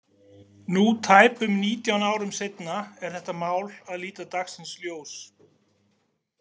Nú tæpum nítján árum seinna er þetta mál að líta dagsins ljós.